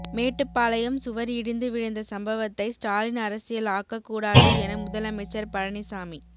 மேட்டுப்பாளையம் சுவர் இடிந்து விழுந்த சம்பவத்தை ஸ்டாலின் அரசியல் ஆக்கக்கூடாது என முதலமைச்சர் பழனிசாமி